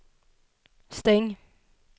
stäng